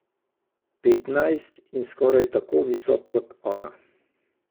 Petnajst in skoraj tako visok kot ona.